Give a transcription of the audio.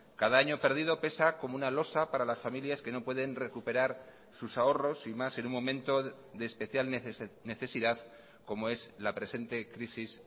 cada año perdido pesa como una losa para las familias que no pueden recuperar sus ahorros y más en un momento de especial necesidad como es la presente crisis